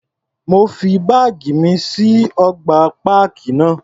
Mo fi báàgì mi sí ọgbà páàkì náà.